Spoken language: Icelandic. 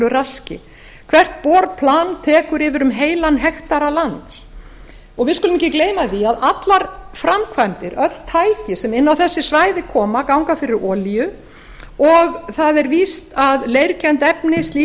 raski hvert borplan tekur yfir um heilan hektara lands við skulum ekki gleyma því að allar framkvæmdir öll tæki sem inn á þessi svæði koma ganga fyrir olíu og það er víst að leirkennt